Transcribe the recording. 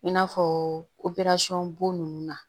I n'a fɔ bo nunnu na